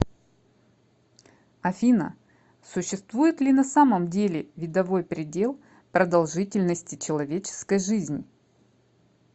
афина существует ли на самом деле видовой предел продолжительности человеческой жизни